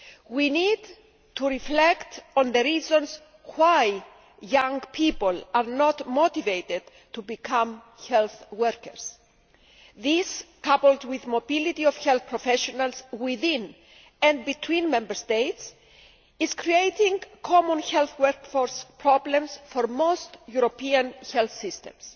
We need to reflect on the reasons why young people are not motivated to become health workers. This, coupled with the mobility of health professionals within and between Member States is creating common health workforce problems for most European health systems.